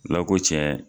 Ala ko tiɲɛ